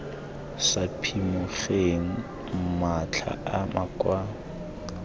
sa phimogeng matlha a makwalo